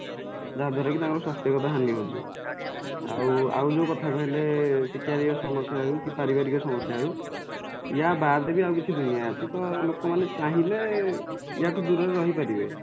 ଯାହାଦ୍ୱାରାକି ତାଙ୍କର ସ୍ୱାସ୍ଥ୍ୟ ଗତ ହାନିହଉଛି ଆଉ ଆଉ ଯୋଉ କଥା କହିଲେ ଶିକାରୀକ ସମସ୍ୟା ହଉ କି ପାରିବାରିକ ସମସ୍ୟା ହଉ ୟା ବାଦେବି ଆଉ କିଛି ଦୁନିଆ ଅଛି ତ ଲୋକମାନେ ଚାହିଁଲେ ୟା ଠୁ ଦୂରରେ ରହିପାରିବେ